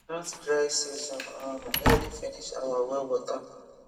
that dry season um nearly finish our well water